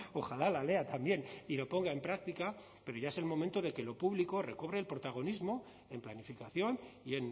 ojalá la lea también y lo ponga en práctica pero ya es el momento de que lo público recobre el protagonismo en planificación y